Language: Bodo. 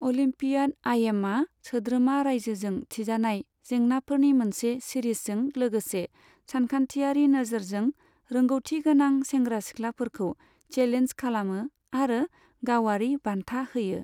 अलिम्पियाड आइएमअ सोद्रोमा राज्योजों थिजानाय जेंनाफोरनि मोनसे सिरिजजों लोगोसे सानखान्थियारि नोजोरजों रोंगौथिगोनां सेंग्रा सिख्लाफोरखौ चेलेन्ज खालामो, आरो गावआरि बान्था होयो।